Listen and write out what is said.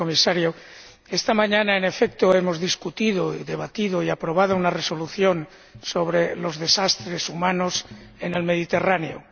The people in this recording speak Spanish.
señor Comisario, esta mañana, en efecto, hemos discutido y debatido y aprobado una Resolución sobre los desastres humanos en el Mediterráneo.